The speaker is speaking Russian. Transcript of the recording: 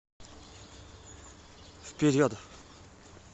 вперед